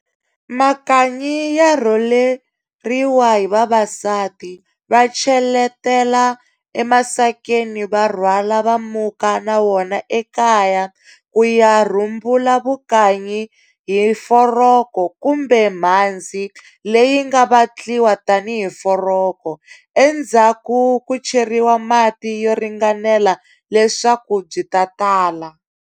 Makanyi ya rholeriwa hi vavasati, va cheletela emasakeni va rhwala va muka na wona ekaya ku ya rhumbula vukanyi hi foroko kumbe mhandzi leyi nga vatliwa tanihi foroko, endzhaku ku cheriwa mati yo ringanela leswaku byi ta tala.